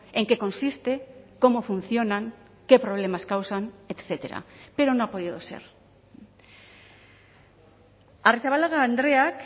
en qué consiste cómo funcionan qué problemas causan etcétera pero no ha podido ser arrizabalaga andreak